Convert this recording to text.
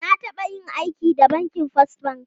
Na taba yin aiki da bankin First Bank.